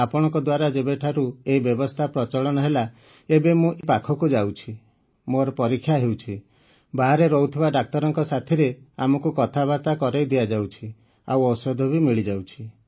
ଆପଣଙ୍କ ଦ୍ୱାରା ଯେବେଠାରୁ ଏଇ ବ୍ୟବସ୍ଥା ପ୍ରଚଳନ ହେଲା ଏବେ ମୁଁ ଏଇ ପାଖକୁ ଯାଉଛି ମୋର ପରୀକ୍ଷା ହେଉଛି ବାହାରେ ରହୁଥିବା ଡାକ୍ତରଙ୍କ ସାଥିରେ ଆମକୁ କଥାବାର୍ତ୍ତା କରେଇ ଦିଆଯାଉଛି ଆଉ ଔଷଧ ବି ମିଳିଯାଉଛି